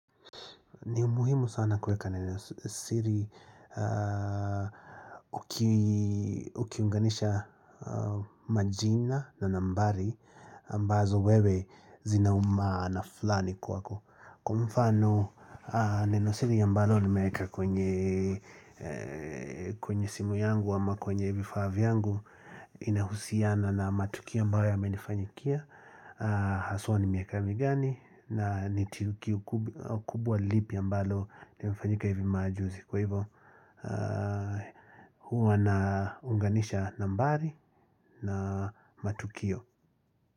Ni muhimu sana kueka nenosiri ukiunganisha majina na nambari ambazo wewe zinaumaana fulani kwako Kwa mfano neno siri ambalo nimeeka kwenye simu yangu ama kwenye vifaa vyangu inahusiana na matukio ambayo yamenifanyikia Haswa ni miaka migani na ni kitu kubwa lipi ambalo imefanyika hivi majuzi Kwa hivyo huwa na unganisha nambari na matukio.